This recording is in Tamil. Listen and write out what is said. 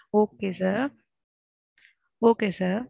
Okay sir. Okay sir.